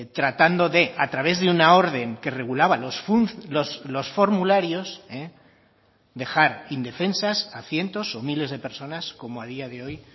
tratando de a través de una orden que regulaba los formularios dejar indefensas a cientos o miles de personas como a día de hoy